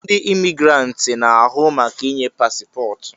Ndi Imigiranti na-ahụ maka inye pasipotu